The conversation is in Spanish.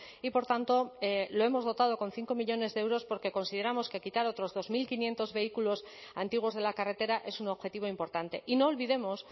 y por tanto lo hemos dotado con cinco millónes de euros porque consideramos que quitar otros dos mil quinientos vehículos antiguos de la carretera es un objetivo importante y no olvidemos